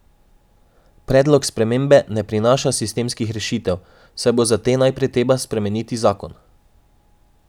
Predlog spremembe ne prinaša sistemskih rešitev, saj bo za te najprej treba spremeniti zakon.